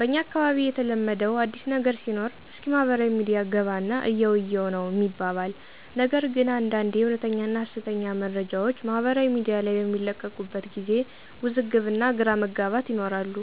በኛ አካባቢ የተለመደው አዲስ ነገር ሲኖር እስኪ ማህበራዊ ሚዲያ ገባና እየው እይው ነው ሚባባል ነገር ግን አንዳንዴ እወነተኛና ሀሰተኛ መረጃወች ማህበራዊ ሚዲያ ላይ በሚለቀቁበት ጊዜ ውዝግብ እና ግራ መጋባት ይኖራሉ።